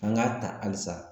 An k'a ta halisa